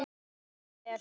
Bara vel.